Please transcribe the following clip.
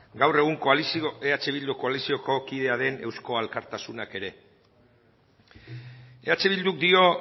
gaur egun koalizio eh bildu koalizioko kidea den euzko alkartasunak ere eh bilduk dio